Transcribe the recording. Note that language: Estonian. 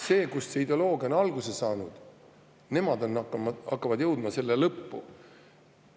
Nemad, kust see ideoloogia on alguse saanud, hakkavad jõudma selle lõppu.